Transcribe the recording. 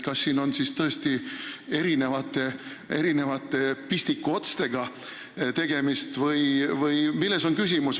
Kas siin on tõesti tegemist erinevate pistikuotstega või milles on küsimus?